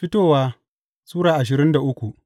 Fitowa Sura ashirin da uku